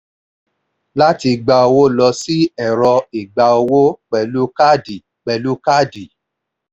láti gba owó lọ sí ẹ̀rọ ìgba owó pẹ̀lú káàdì. pẹ̀lú káàdì.